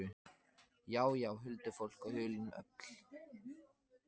Já, já, huldufólk og hulin öfl.